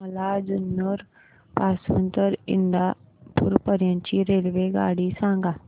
मला जुन्नर पासून तर इंदापूर पर्यंत ची रेल्वेगाडी सांगा